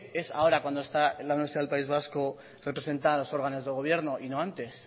es ahora cuando está la universidad del país vasco representada en los órganos de gobierno y no antes